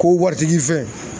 Ko waritigi fɛn.